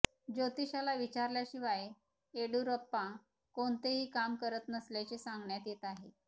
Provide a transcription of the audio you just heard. ज्योतिषाला विचारल्याशिवाय येडीयुरप्पा कोणतेही काम करत नसल्याचे सांगण्यात येत आहे